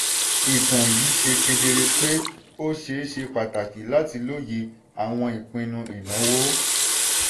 ìtàn yìí ṣe kedere pé ó ṣe ṣe pàtàkì láti lóye àwọn ìpinnu ìnáwó.